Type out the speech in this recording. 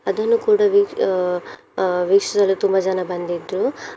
ಅದನ್ನು ಕೂಡ ಅಹ್ ಅಹ್ ವೀಕ್ಷಿಸಲು ತುಂಬ ಜನ ಬಂದಿದ್ರು.